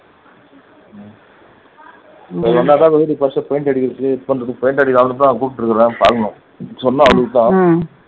நீ வந்தாதான் இந்த வீட்டுக்கு first paint அடிக்கிறதுக்கு paint அடிக்க அவரைத்தான் கூப்பிட்டு இருக்கிறேன் பாக்கணும் சொன்னா